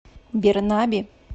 бернаби